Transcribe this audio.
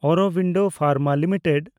Aurobindo Pharma limited